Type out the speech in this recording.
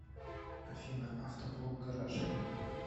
афина авто блог гараж